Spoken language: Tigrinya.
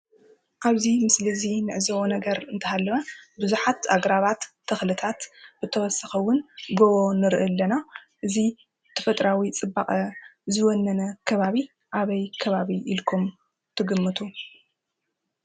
ኣብዚ ምስሊ እዚ እንዕዘቦ ነገር እንትሃለወ ብዙሓት ኣግራባት፣ ተኽልታት ብተወሳኺ እውን ጎቦ ንርኢ ኣለና። እዙይ ተፈጥራዊ ፅባቐ ዝወነነ ከባቢ ኣበይ ከባቢ ኢልኩም ትግምቱ?